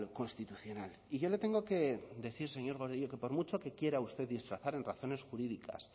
constitucional y yo le tengo que decir señor gordillo que por mucho que quiera usted disfrazar en razones jurídicas